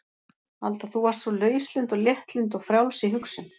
Alda þú varst svo lauslynd og léttlynd og frjáls í hugsun.